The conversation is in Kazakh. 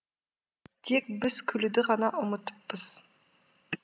тек біз күлуді ғана ұмытыппыз